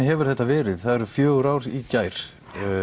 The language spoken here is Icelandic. hefur þetta verið það eru fjögur ár í gær